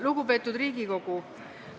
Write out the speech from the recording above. Lugupeetud Riigikogu!